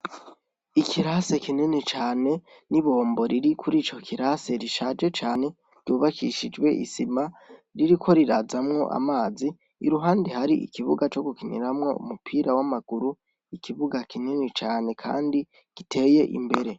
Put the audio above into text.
Ikirase kineni cane ni bombo riri kuri ico kirase rishaje cane ryubakishijwe isima ririko rirazamwo amazi iruhandi hari ikibuga co gukiniramwo mupira w'amaguru ikibuga kineni cane, kandi giteye imbere.